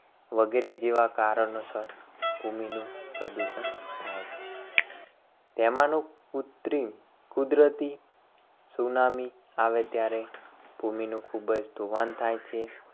વગેરે જેવા કારણોસર ભૂમિનું પ્રદૂષણ થાય છે. તેમાંનું કુત્રિમ કુદરતી સુનામી આવે ત્યારે ભૂમિનું ખૂબ જ ધોવાણ થાય છે.